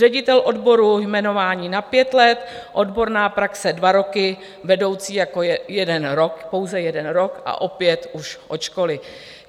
Ředitel odboru - jmenování na pět let, odborná praxe dva roky, vedoucí jako jeden rok, pouze jeden rok a opět už od školy.